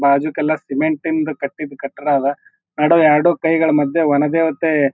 ಬಾಜೂಕಲ್ಲ ಸೆಮೆಂಟಿಂದು ಕಟ್ಟಿದ್ ಕಟ್ಟಡ ಅದ ಎರಡು ಕೈಗಳ ಮದ್ಯ ಒಣಬೇಒತಾಯಿ--